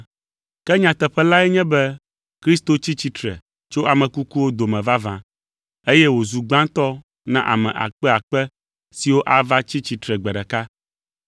Ke nyateƒe lae nye be Kristo tsi tsitre tso ame kukuwo dome vavã eye wòzu gbãtɔ na ame akpeakpe siwo ava tsi tsitre gbe ɖeka.